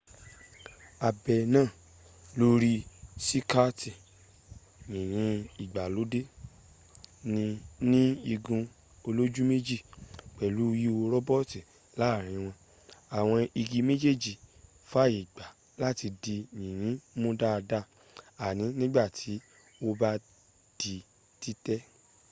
abẹ náà lórí síkààtì yìnyín ìgbàlódẹ́ ní igun olújúmẹ́jì pẹ̀lú ihò róbótó láàrin wọn àwọn igi méjèèjì fàyègbà láti di yìnyín mu dada àní nígbàtí ó bá di títẹ̀